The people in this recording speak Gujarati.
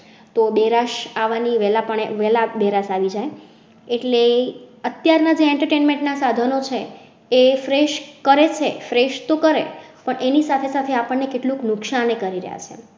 તો બેરાશ અવની વેલા પાને વેલા બહેરાશ આવી જાય એટલે અત્યાર ના entertainment ના સાધનો છે. એ fresh કરેજ fresh તો કરેં એની સાથે સાથે આપણે કેટલું નુકસાન કરી રહ્યા છે.